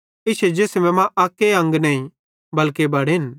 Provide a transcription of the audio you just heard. इश्शे जिसमे मां अक्के अंग नईं बल्के बड़ेन